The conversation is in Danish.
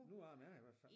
Nogle af dem er i hvert fald